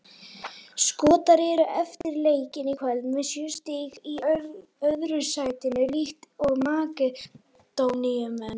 Skotar eru eftir leikinn í kvöld með sjö stig í öðru sætinu líkt og Makedóníumenn.